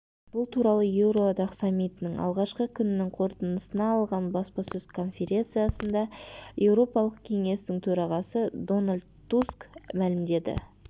бұл туралы еуроодақ саммитінің алғашқы күнінің қорытындысына арналған баспасөз конференциясында еуропалық кеңестің төрағасы дональд туск мәлімдеді